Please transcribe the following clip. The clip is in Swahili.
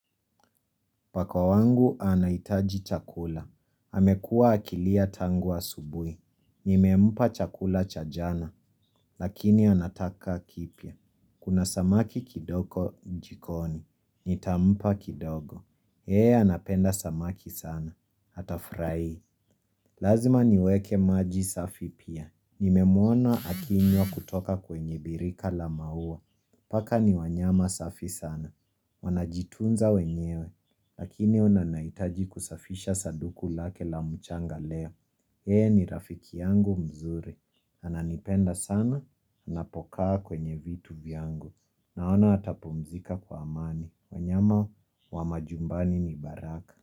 Paka wangu anahitaji chakula. Amekuwa akilia tangu asubuhi. Nimempa chakula cha jana, lakini anataka kipya. Kuna samaki kidogo jikoni. Nitampa kidogo. Yeye anapenda samaki sana. Hatafurahi. Lazima niweke maji safi pia. Nimemwona akinywa kutoka kwenye birika la maua. Paka ni wanyama safi sana. Wanajitunza wenyewe. Lakini nahitaji kusafisha sanduku lake la mchanga leo Yeye ni rafiki yangu mzuri. Ananipenda sana, anapokaa kwenye vitu vyangu. Naona atapumzika kwa amani. Wanyama wa majumbani ni baraka.